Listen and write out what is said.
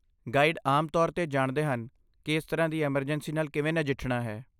Guide ਆਮ ਤੌਰ 'ਤੇ ਜਾਣਦੇ ਹਨ ਕਿ ਇਸ ਤਰ੍ਹਾਂ ਦੀ ਐਮਰਜੈਂਸੀ ਨਾਲ ਕਿਵੇਂ ਨਜਿੱਠਣਾ ਹੈ।